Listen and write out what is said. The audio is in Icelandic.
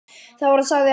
Það var og sagði Ella.